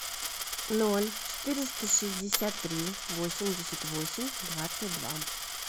ноль четыреста шестьдесят три восемьдесят восемь двадцать два